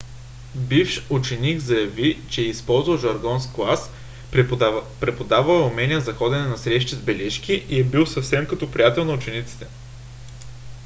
бивш ученик заяви че е използвал жаргон в клас преподавал е умения за ходене на срещи с бележки и е бил съвсем като приятел на учениците.